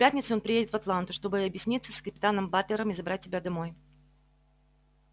в пятницу он приедет в атланту чтобы объясниться с капитаном батлером и забрать тебя домой